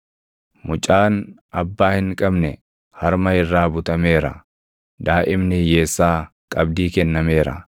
Mucaan abbaa hin qabne harma irraa butameera; daaʼimni hiyyeessaa qabdii kennameera.